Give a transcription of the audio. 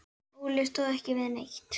Óli stóð ekki við neitt.